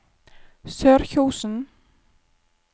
Sørkjosen